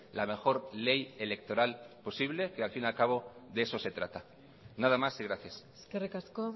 la mejor ley electoral posible que al fin y al cabo de eso se trata nada más y gracias eskerrik asko